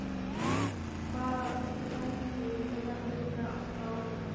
Hvaða þvælingur er þetta eiginlega alltaf á henni?